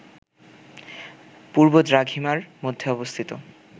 পূর্ব দ্রাঘিমার মধ্যে অবস্থিত